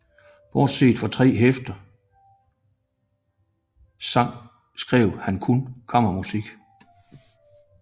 Bortset fra tre hæfter sange skrev han kun kammermusik